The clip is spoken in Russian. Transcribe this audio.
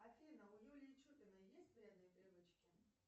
афина у юлии чупиной есть вредные привычки